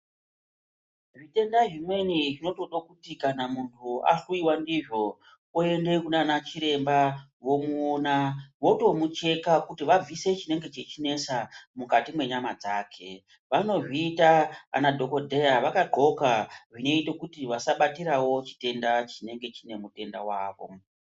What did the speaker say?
Zvitenda zvimweni zvinotode kuti kana munhu ahluiwa ndizvo ayoende kunana chiremba vomuona votomucheka kuti vabvise chinenge chichinesa mukati mwenyama dzake. vanozviita ana dhokodheya vakadhxoka zvinoite kuti vasa batirawo chitenda chinenge chine mutenda wavo.